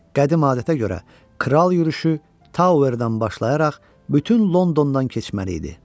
Qədim adətə görə kral yürüşü Towerdən başlayaraq bütün Londondan keçməli idi.